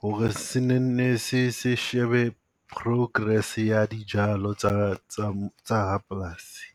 ho re se ne nne se se shebe progress ya dijalo tsa tsa tsa rapolasi.